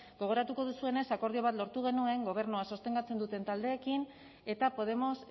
gogoratuko duzuenez akordio bat lortu genuen gobernua sostengatzen duten taldeekin eta podemos